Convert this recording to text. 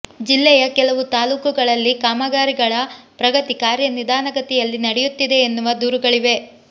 ಜಿಲ್ಲೆಯ ಕೆಲವು ತಾಲೂಕುಗಳಲ್ಲಿ ಕಾಮಗಾರಿಗಳ ಪ್ರಗತಿ ಕಾರ್ಯ ನಿಧಾನಗತಿಯಲ್ಲಿ ನಡೆಯುತ್ತಿದೆ ಎನ್ನುವ ದೂರುಗಳಿವೆ